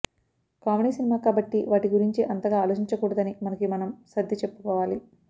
comedy cinema కాబట్టి వాటి గురించి అంతగా ఆలోచించకూడదని మనకి మనం సర్ది చెప్పుకోవాలి